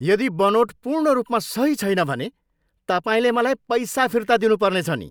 यदि बनोट पूर्ण रूपमा सही छैन भने, तपाईँले मलाई पैसा फिर्ता दिनुपर्नेछ नि।